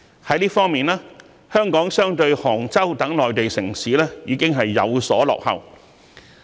在這方面，香港比起杭州等內地城市已有所落後。